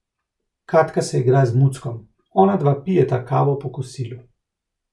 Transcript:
Katka se igra z muckom, onadva pijeta kavo po kosilu.